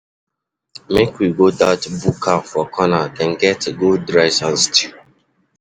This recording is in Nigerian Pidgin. Make we go dat buka for corner, dem get good rice and stew.